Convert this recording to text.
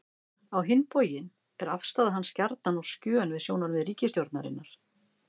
Á hinn bóginn var afstaða hans gjarnan á skjön við sjónarmið ríkisstjórnarinnar.